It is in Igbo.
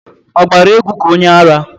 Ọ gbara égwú ka onyeara?